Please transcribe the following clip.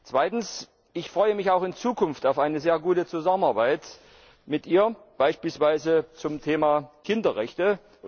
Zweitens Ich freue mich auch in Zukunft auf eine sehr gute Zusammenarbeit mit ihr, beispielsweise zum Thema Kinderrechte.